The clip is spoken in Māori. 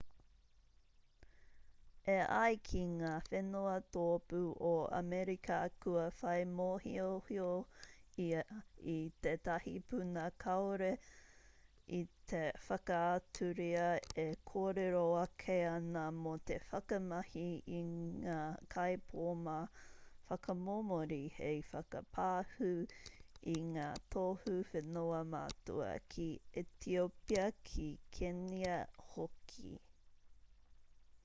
e ai ki ngā whenua tōpū o amerika kua whai mōhiohio ia i tētahi puna kāore i te whakaaturia e kōrero ake ana mō te whakamahi i ngā kaipōma whakamomori hei whakapāhū i ngā tohu whenua matua ki etiopia ki kenia hoki